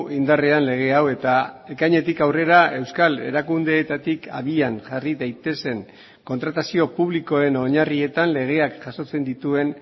indarrean lege hau eta ekainetik aurrera euskal erakundeetatik abian jarri daitezen kontratazio publikoen oinarrietan legeak jasotzen dituen